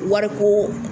Wariko